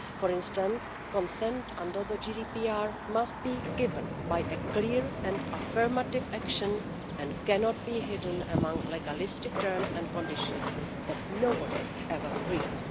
For instance, consent under the GDPR must be given by a clear and affirmative action and cannot be hidden among legalistic terms and conditions that nobody ever reads.